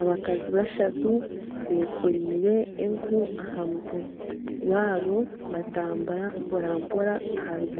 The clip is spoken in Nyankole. Abantu bari aha kaato k'ekiti karaingwa aha mutwe gw'amaizi agacureire barimu